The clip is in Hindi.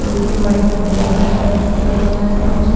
रोड पे व्हाइट -व्हाइट बॉर्डर टाइप्स किया गया है कुछ--